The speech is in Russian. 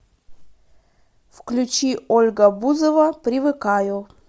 включи ольга бузова привыкаю